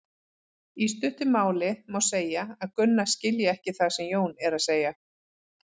Í stuttu máli má segja að Gunna skilji ekki það sem Jón er að segja.